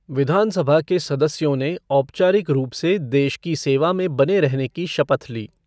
विधानसभा के सदस्यों ने औपचारिक रूप से देश की सेवा में बने रहने की शपथ ली।